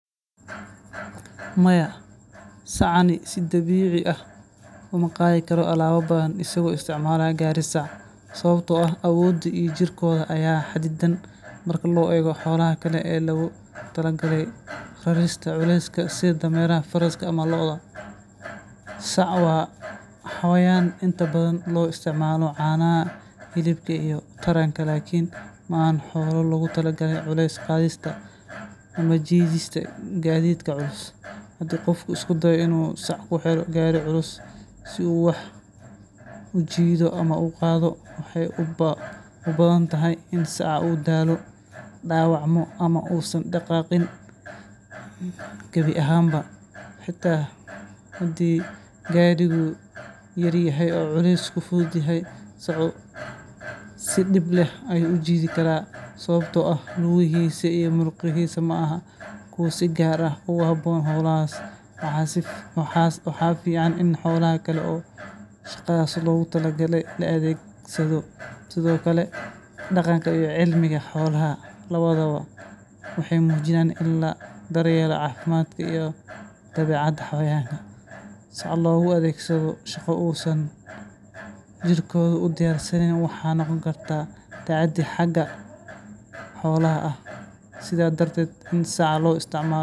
Jawaabta su’aashan waxay ku xirnaan doontaa dhowr arrimood oo muhiim ah. Marka hore, nooca sacan ee la isticmaalayo ayaa door weyn ka ciyaara, maadaama ay jiraan sacano leh awood kala duwan oo lagu qaado culeysyo kala duwan. Sacanka xooggan ee laga sameeyay walxo tayo sare leh ayaa awood u leh inuu qaado alaabooyin badan oo culus, halka sacan ka samaysan walxo fudud uu xadidan yahay. Sidoo kale, cabbirka iyo qaabka gaadhiga sacanka ku rakiban yahay ayaa saameynaya tirada iyo miisaanka alaabta la qaadi karo.